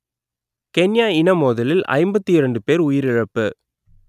Kenya இனமோதலில் ஐம்பத்தி இரண்டு பேர் உயிரிழப்பு